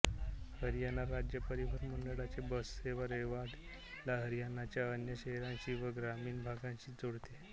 हरियाणा राज्य परिवहन मंडळाचे बससेवा रेवाडीला हरियाणाच्या अन्य शहरांशी व ग्रामीण भागाशी जोडते